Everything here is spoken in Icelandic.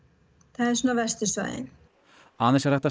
það eru svona verstu svæðin aðeins er hægt að